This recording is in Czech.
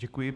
Děkuji.